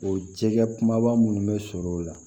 O jɛgɛ kumaba minnu bɛ sɔrɔ o la